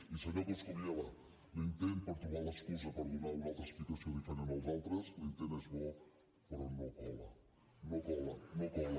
i senyor coscubiela l’intent per trobar l’excusa per donar una altra explicació diferent dels altres l’intent és bo però no cola no cola no cola